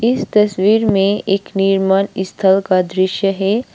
इस तस्वीर मे एक निर्माण स्थल का दृश्य है।